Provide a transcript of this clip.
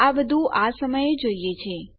આ બધું આ સમયે જોઈએ છે